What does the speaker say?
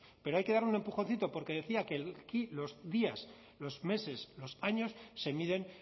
pero hay que darle un empujoncito porque decía que aquí los días los meses los años se miden